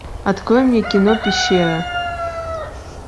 открой мне кино пещера